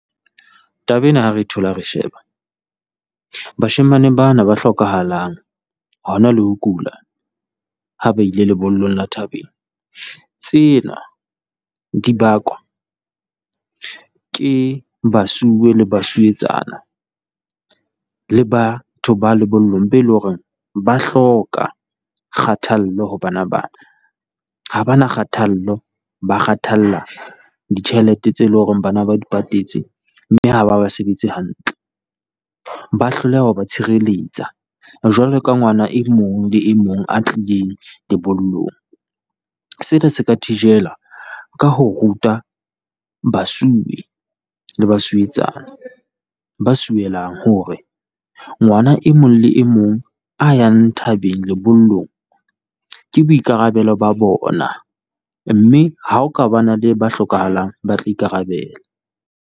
Taba ena ha re thola re sheba, bashemane bana ba hlokahalang hona le ho kula ha ba ile lebollong le thabeng. Tsena di bakwa ke basuwe le basuwetsana le batho ba lebollong be leng hore ba hloka kgathallo ho bana bana. Ha ba na kgathallo ba kgathalla ditjhelete tse leng hore bana ba di patetse, mme ha ba ba sebetse hantle. Ba hloleha ho ba tshireletsa jwalo ka ngwana e mong le e mong a tlileng dibollong, sena se ka thijelwa ka ho ruta basuwe le basuwetsana ba suwelang, hore ngwana e mong le e mong a yang thabeng lebollong. Ke boikarabelo ba bona, mme ha o ka ba na le ba hlokahalang, ba tla ikarabela.